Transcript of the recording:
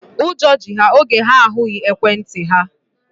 Ụjọ ji ha oge ha ahụghị ekwentị ha.